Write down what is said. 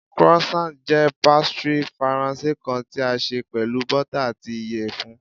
Croissant jẹ pastry Faranse kan ti a ṣe pẹlu bota ati iyẹfun